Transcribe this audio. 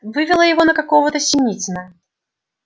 вывело его на какого-то синицына